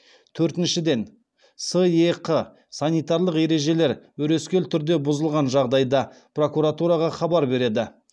төртіншіден сэқ санитарлық ережелер өрескел түрде бұзылған жағдайда прокуратураға хабар береді